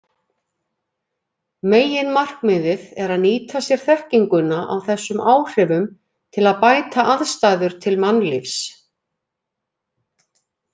Meginmarkmiðið er að nýta sér þekkinguna á þessum áhrifum til að bæta aðstæður til mannlífs.